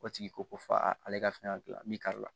O tigi ko ko f'a ale ka fɛn ka gilan min kari la